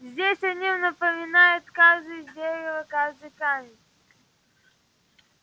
здесь о нем напоминают каждое дерево каждый камень